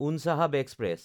Unchahar express